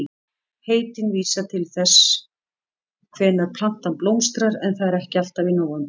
Heitin vísa til þess hvenær plantan blómstrar en það er ekki alltaf í nóvember.